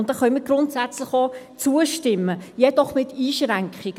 Da können wir grundsätzlich auch zustimmen, jedoch mit Einschränkungen.